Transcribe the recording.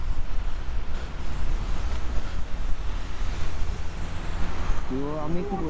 আমি কি বলছিলাম